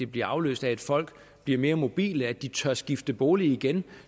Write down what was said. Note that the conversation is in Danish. bliver afløst af at folk bliver mere mobile at de tør skifte bolig igen